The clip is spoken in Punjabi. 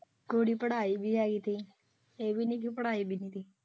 ਕੁੜੀ ਪੜਾਈ ਵੀ ਆਈ ਥੀ ਇਹ ਵੀ ਨਹੀਂ ਕਿ ਪੜਾਈ ਨਹੀਂ।